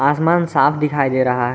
आसमान साफ दिखाई दे रहा है।